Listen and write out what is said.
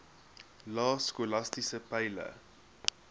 lae skolastiese peile